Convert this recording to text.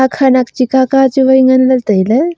khanak chi kaka chu wai ngan ley tai ley.